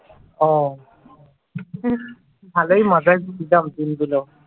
অ্যা ভালোই মজার ছিল দিনগুলো ।